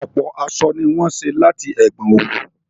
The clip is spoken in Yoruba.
Ọ̀pọ̀ aṣọ ni wọ́n ṣé láti ẹ̀gbọn òwú